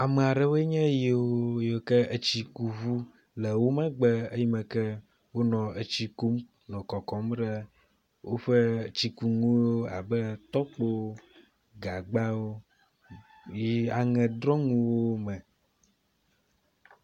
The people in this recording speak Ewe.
Ame aɖewoe nye yiwo yike etsikuŋu le wo megbe eyime ke wonɔ etsi kum nɔ kɔkɔm ɖe woƒe etsikunuwo abe tɔkpo, gagbawo, aŋedrɔmwo me.